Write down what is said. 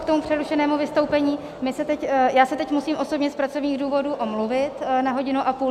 K tomu přerušenému vystoupení, já se teď musím osobně z pracovních důvodů omluvit na hodinu a půl.